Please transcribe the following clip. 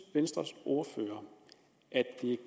venstres ordfører at det